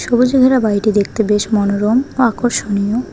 সবুজে ঘেরা বাড়িটি দেখতে বেশ মনোরম আকর্ষণীয়।